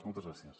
moltes gràcies